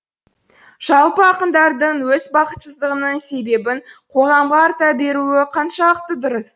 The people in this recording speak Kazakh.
жалпы ақындардың өз бақытсыздығының себебін қоғамға арта беруі қаншалықты дұрыс